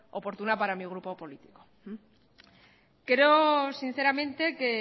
oportuna para mi grupo político creo sinceramente que